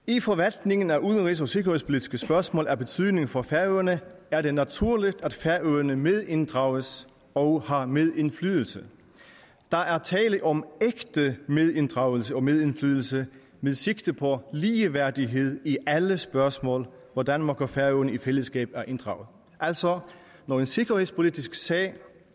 i forvaltningen af udenrigs og sikkerhedspolitiske spørgsmål af betydning for færøerne er det naturligt at færøerne medinddrages og har medindflydelse der er tale om ægte medinddragelse og medindflydelse med sigte på ligeværdighed i alle spørgsmål hvor danmark og færøerne i fællesskab er inddraget altså når en sikkerhedspolitisk sag